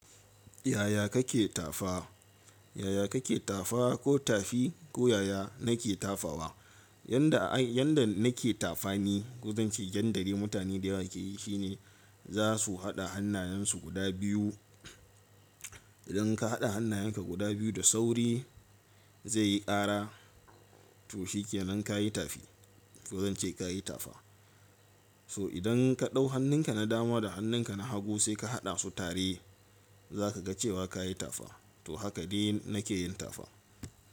Yaya kake tafa? Yaya kake tafa ko tafi ko yaya nake tafawa? Yanda, yanda nake tafani, ko zance yanda dai mutane dayawa ke yi shine za su haɗa hannayensu guda biyu. Idan ka haɗa hannayenka guda biyu da sauri zai yi ƙara to shikenan ka yi tafi ko zan ce ka yi tafa. So idan ka ɗau hannunka na dama da hannunka na hagu sai ka haɗa su tare za ka ga cewa ka yi tafa to haka ne nake yin tafa.